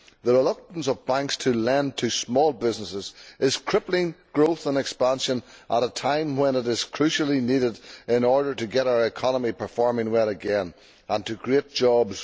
The reluctance of banks to lend to small businesses is crippling growth and expansion at a time when it is crucially needed in order to get our economy performing well again and to create jobs.